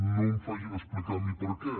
no em facin explicar a mi per què